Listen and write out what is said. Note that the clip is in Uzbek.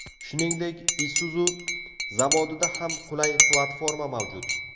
Shuningdek, Isuzu zavodida ham qulay platforma mavjud.